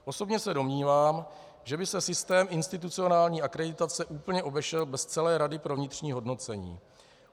Osobně se domnívám, že by se systém institucionální akreditace úplně obešel bez celé rady pro vnitřní hodnocení.